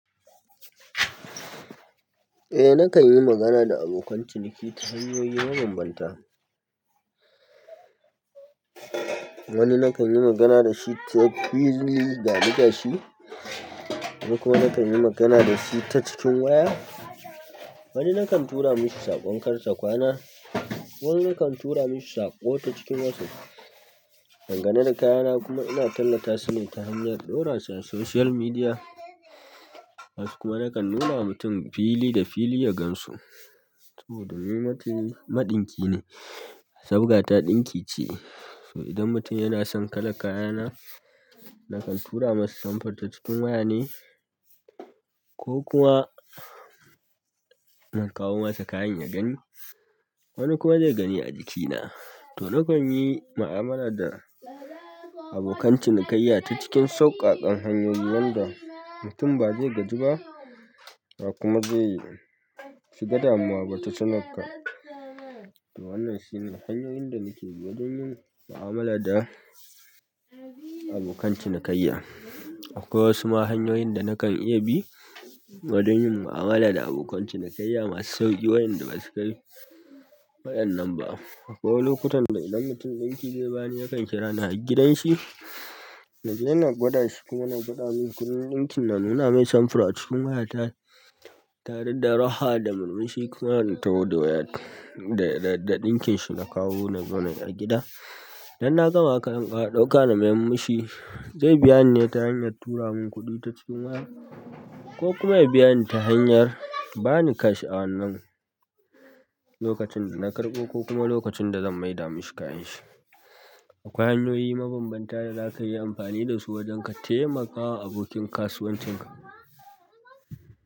Eh nakan yi magana da abokan ciniki ta hanyoyi mabambanta. Wani nakan yi magana da shi ta fili ga ni gashi, wani kuma nakan yi magana da shi ta cikin waya. Wani nakan tura mishi saƙo kar ta kwana wani nakan tura mishi saƙo ta cikin whatsapp dangane da kayana kuma ina tallatasu ne ta hanyar ɗaura su a social media. Wasu kuma nakan nuna mutum fili da fili ya gan su. To, domin ni maɗinki ne, sabga ta ɗinki ce, to idan mutum yana son kalan kayana, nakan tura masa samfur ta cikin waya ne ko kuma na kawo masa kayan ya gani. Wani kuma zai gani a jikina. To, nakan yi mu'amala da abokan cinikayya ta cikin sauƙaƙan hanyoyi wanda mutum ba zai gaji ba, ba kuma zai shiga damuwa ba ta tanak ka. To wannan shine hanyoyin da nake yi wajen yin mu'amala da abokan cinikayya. Akwai wasu ma hanyoyin da nakan iya bi wajen yin mu'amala da abokan cinikayya masu sauƙi wayanda ba su kai wayan nan ba. Akwai lokutan da idan mutum ɗinki zai bani, yakan kira ni har gidan shi, na je na gwada shi kuma na biɗa min kuɗin ɗinkina, nuna mai samfur a cikin waya tare da raha da murmushi kuma na taho da wayar da ɗinkin shi na kawo nazo nayi a gida. Idan na gama kayan zan ƙara ɗauka na mayar mishi, zai biya ni ne ta hanyar tura min kuɗi ta cikin waya ko kuma ya biya ni ta hanyar ba ni cash a wannan lokacin da na karɓo ko kuma lokacin da zan maida mishi kayan shi. Akwai hanyoyi mabambanta da zakayi amfani da su wajen ka taimaka abokin kasuwancin ka.